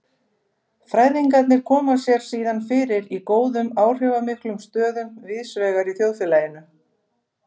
Fræðingarnir koma sér síðan fyrir í góðum áhrifamiklum stöðum víðsvegar í þjóðfélaginu.